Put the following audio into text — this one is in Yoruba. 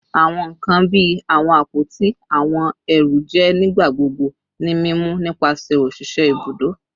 Awọn nkan bii awọn apoti ati awọn ẹru jẹ nigbagbogbo ni mimu nipasẹ oṣiṣẹ ibudo